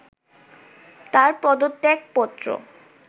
তাঁর পদত্যাগপত্র